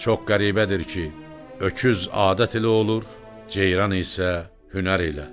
Çox qəribədir ki, öküz adət ilə olur, ceyran isə hünər ilə.